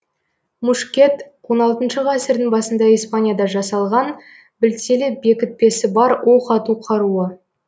мушкет он алтыншы ғасырдың басында испанияда жасалған білтелі бекітпесі бар оқ ату қаруы